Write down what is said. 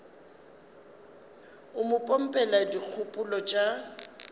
o mo pompela dikgopolo tša